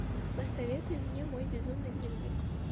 посоветуй мне мой безумный дневник